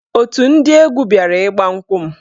Otù ndị egwu bịara ịgba nkwụ m.